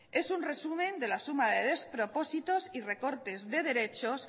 es un resumen de la suma de despropósitos y recortes de derechos